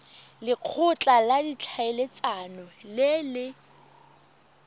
lekgotla la ditlhaeletsano le le